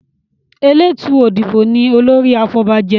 Eletu Odibo ní olórí àfobajé.